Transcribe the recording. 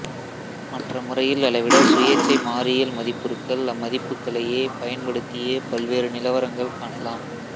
மற்ற முறையில் அளவிட சுயேச்சை மாறியல் மதிப்புருக்கள் அம்மதிப்புக்களையே பயன்படுத்தியே பல்வேறு நிலவரங்கள் காணலாம்